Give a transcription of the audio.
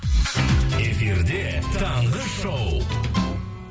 эфирде таңғы шоу